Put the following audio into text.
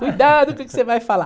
Cuidado com o que você vai falar.